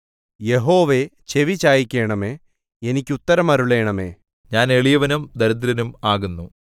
യഹോവേ ചെവി ചായിക്കണമേ എനിക്കുത്തരമരുളണമേ ഞാൻ എളിയവനും ദരിദ്രനും ആകുന്നു